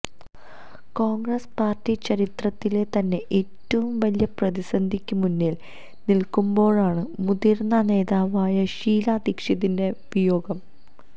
Congress party ചരിത്രത്തിലെ തന്നെ ഏറ്റവും വലിയ പ്രതിസന്ധിക്ക് മുന്നില് നില്ക്കുമ്പോഴാണ് മുതിര്ന്ന നേതാവായ ഷീല ദീക്ഷിതിന്റെ വിയോഗം